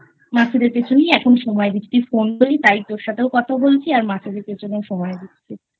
মাছেদের পিছনেই এখন সময় দিচ্ছি তুই Phone করলি তাই তোর সাথেও কথা বলছি আর মাছেদের পিছনে সময় দিচ্ছিI